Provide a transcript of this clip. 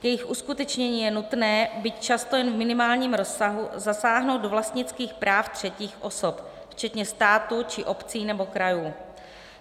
K jejich uskutečnění je nutné, byť často jen v minimálním rozsahu, zasáhnout do vlastnických práv třetích osob, včetně státu či obcí nebo krajů.